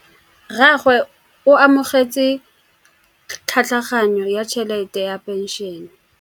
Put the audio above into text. Rragwe o amogetse tlhatlhaganyô ya tšhelête ya phenšene.